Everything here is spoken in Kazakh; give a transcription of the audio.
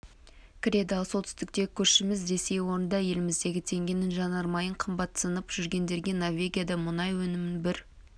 кіреді ал солтүстіктегі көршіміз ресей орында еліміздегі теңгенің жанармайын қымбатсынып жүргендерге норвегияда мұнай өнімінің бір